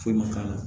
Foyi ma k'a la